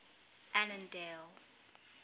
annandale